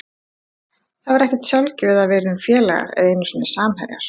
Það var ekkert sjálfgefið að við yrðum félagar eða einu sinni samherjar.